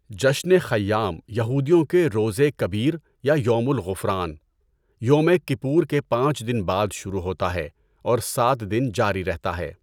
جشن خیام یہودیوں کے روزہ کبیر یا یومُ الغُفران - یومِ کِپور کے پانچ دن بعد شروع ہوتا ہے اور سات دن جاری رہتا ہے۔